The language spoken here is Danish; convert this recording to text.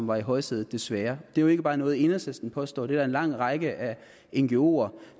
var i højsædet desværre det er jo ikke bare noget enhedslisten påstår det er der en lang række af ngoer